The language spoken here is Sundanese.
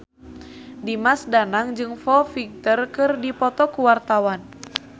Dimas Danang jeung Foo Fighter keur dipoto ku wartawan